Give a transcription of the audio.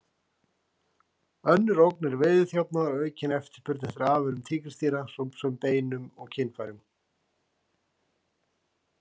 Önnur ógn er veiðiþjófnaður og aukin eftirspurn eftir afurðum tígrisdýra, svo sem beinum og kynfærum.